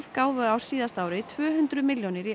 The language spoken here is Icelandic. gáfu á síðasta ári tvö hundruð milljónir króna í